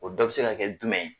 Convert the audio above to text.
O dɔ be se ka kɛ jumɛn ye?